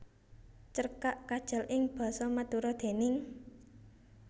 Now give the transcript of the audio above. Cerkak Kajal ing basa Madura déning